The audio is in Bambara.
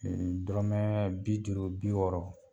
Dɔrɔmɛ bi duuru bi wɔɔrɔ.